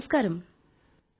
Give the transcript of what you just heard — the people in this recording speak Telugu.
నమస్కారం సార్ నమస్కారం